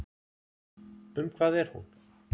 Um hvað er hún?